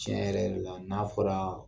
Tiɲɛ yɛrɛ yɛrɛ la, n'a fɔra